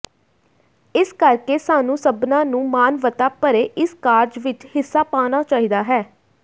ਇਸ ਕਰਕੇ ਸਾਨੂੰ ਸਭਨਾਂ ਨੂੰ ਮਾਨਵਤਾ ਭਰੇ ਇਸ ਕਾਰਜ ਵਿਚ ਹਿੱਸਾ ਪਾਉਣਾ ਚਾਹੀਦਾ ਹੈ